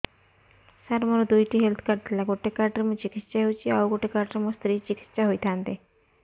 ସାର ମୋର ଦୁଇଟି health card ଥିଲା ଗୋଟେ କାର୍ଡ ରେ ମୁଁ ଚିକିତ୍ସା ହେଉଛି ଆଉ ଗୋଟେ କାର୍ଡ ରେ ମୋ ସ୍ତ୍ରୀ ଚିକିତ୍ସା ହୋଇଥାନ୍ତେ